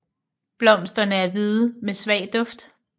Blomsterne er hvide med svag duft